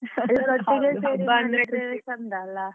ಹಬ್ಬ ಅಂದ್ರೆ ಚಂದ ಅಲ್ಲ.